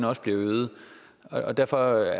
også bliver øget og derfor